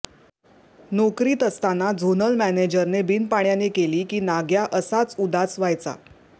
नोकरीत असताना झोनल मॅनेजरने बिनपाण्याने केली की नाग्या असाच उदास व्हायचा